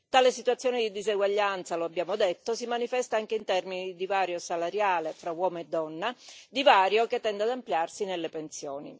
Tale situazione di diseguaglianza, lo abbiamo detto, si manifesta anche in termini di divario salariale tra uomo e donna, divario che tende ad ampliarsi nelle pensioni.